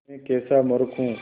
मैं कैसा मूर्ख हूँ